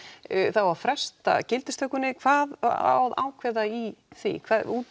það á að fresta gildistökunni hvað á að ákveða í því